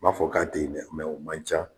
M'a fɔ k'a te yen dɛ o man ca.